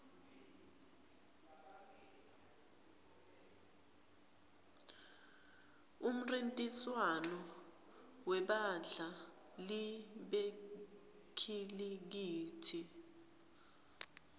umnrintiswano webadla li bekhilikithi